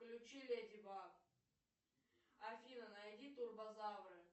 включи леди баг афина найди турбозавры